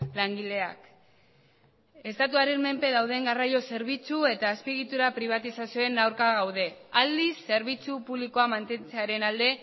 langileak estatuaren menpe dauden garraio zerbitzu eta azpiegitura pribatizazioen aurka gaude aldiz zerbitzu publikoa mantentzearen alde